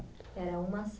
Era uma